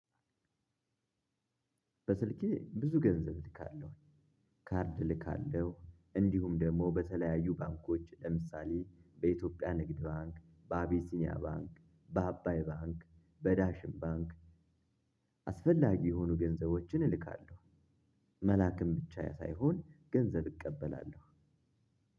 በስልኬ ብዙ ገንዘብ ልካለሁ ካርድ ልካለሁ እንዲሁም ደግሞ በተለያዩ ባንኮች ለምሳሌ በኢትዮጵያ ንግድ ባንክ በአቢሲኒያ ባንክ በአባይ ባንክ በዳሽን ባንክ። አስፈላጊ የሆኑ ገንዘቦችን እልካለሁ። መላክም ብቻ ሳይሆን ገንዘብ እቀበላለሁ።